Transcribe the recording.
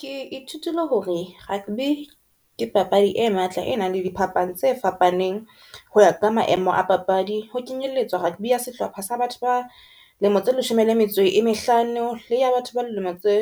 Ke ithutile hore rugby ke papadi e matla e nang le di phapang tse fapaneng hoya ka maemo a papadi, ho kenyelletswa rugby ya sehlopha sa batho ba lemo tse leshome le metso e mehlano le ya batho ba dilemo tse